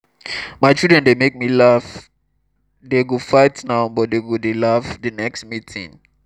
our children dey make me laugh dey go fight now but dey go dey laugh the next meeting